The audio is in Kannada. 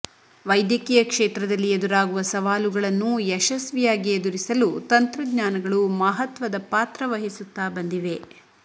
ವೈ ದ್ಯಕೀಯ ಕ್ಷೇತ್ರದಲ್ಲಿ ಎದುರಾಗುವ ಸವಾಲುಗಳನ್ನು ಯಶಸ್ವಿಯಾಗಿ ಎದುರಿಸಲು ತಂತ್ರಜ್ಞಾನಗಳು ಮಹತ್ವದ ಪಾತ್ರ ವಹಿಸುತ್ತಾ ಬಂದಿವೆ